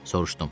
Soruşdum.